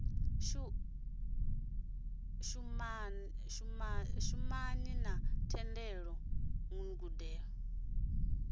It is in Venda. shumana na thendelano guṱe u